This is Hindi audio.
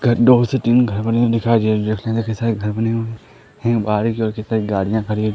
से तीन घर बने हुए दिखाई दे रहे हैं देखने मे की शायद घर बने हुए हैं बाहर एक गाड़ियां खड़ी हुई है।